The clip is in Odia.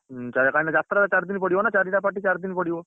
ହୁଁ କଇଁ ନା ଯାତ୍ରା ଚାରିଦନ ପଡିବ ନା ଚାରିଟା party ଚାରିଦିନ ପଡିବ।